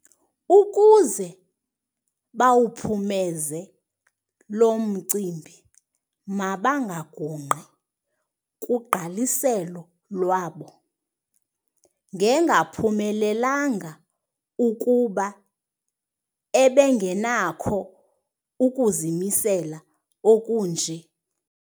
Ukuze bawuphumeze lo mcimbi mabangagungqi kugqaliselo lwabo. ngengaphumelelanga ukuba ebengenakho ukuzimisela okunje